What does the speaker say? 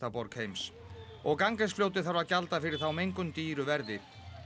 borg heims og Ganges fljótið þarf að gjalda fyrir þá mengun dýru verði